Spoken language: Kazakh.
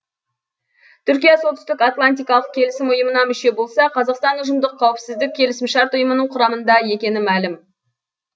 түркия солтүстік атлантикалық келісім ұйымына мүше болса қазақстан ұжымдық қауіпсіздік келісімшарт ұйымының құрамында екені мәлім